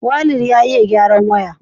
waleed ya iya gyaran waya